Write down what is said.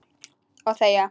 Og þegja.